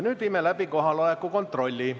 Nüüd teeme kohaloleku kontrolli.